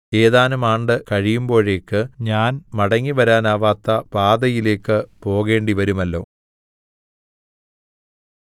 ഏതാനും ആണ്ട് കഴിയുമ്പോഴേക്ക് ഞാൻ മടങ്ങിവരാനാവാത്ത പാതയിലേക്ക് പോകേണ്ടിവരുമല്ലോ